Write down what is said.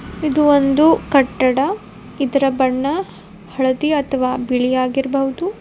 ಇದು ಒಂದು ಕಟ್ಟಡ ಇದರ ಬಣ್ಣ ಹಳದಿ ಅಥವ ಬಿಳಿ ಆಗಿರ್ಬೋದು.